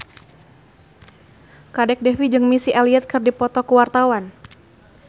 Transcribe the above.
Kadek Devi jeung Missy Elliott keur dipoto ku wartawan